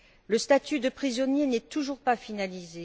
Le statut de prisonnier n'est toujours pas finalisé.